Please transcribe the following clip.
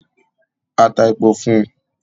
A tá èpò fún un